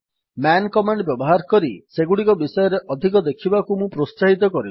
ମନ୍ command ବ୍ୟବହାର କରି ସେଗୁଡିକ ବିଷୟରେ ଅଧିକ ଦେଖିବାକୁ ମୁଁ ପ୍ରୋତ୍ସାହିତ କରିବି